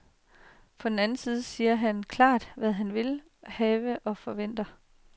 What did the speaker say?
På den anden side siger han klart, hvad han vil have og forventer.